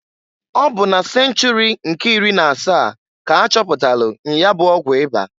Ọ bụ na senchuri nke iri na asaa k'achọpụtalụ nya bụ ọgwụ ịba.